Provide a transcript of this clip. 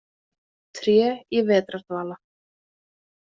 Tré í vetrardvala.